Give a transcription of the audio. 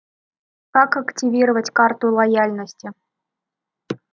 как активировать карту лояльности